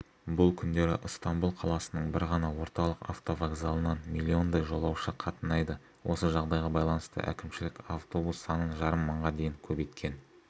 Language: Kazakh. бұл күндері ыстамбұл қаласының бір ғана орталық автовокзалынан миллиондай жолаушы қатынайды осы жағдайға байланысты әкімшілік автобус санын жарым мыңға дейін көбейткен